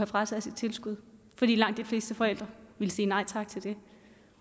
frataget sit tilskud fordi langt de fleste forældre ville sige nej tak til det